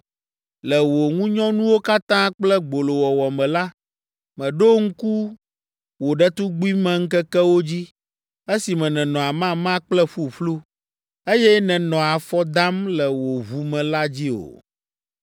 Le wò ŋunyɔnuwo katã kple gbolowɔwɔ me la, mèɖo ŋku wò ɖetugbimeŋkekewo dzi, esime nènɔ amama kple ƒuƒlu, eye nènɔ afɔ dam le wò ʋu me la dzi o.